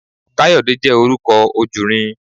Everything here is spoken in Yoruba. Káyọ̀dé jẹ́ orúkọ ojùnrin